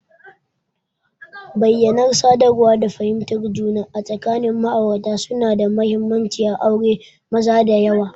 Bayyanar sadarwa da fahimtar juna tsakanin ma'aurata suna da mahimmanci a auren maza da yawa.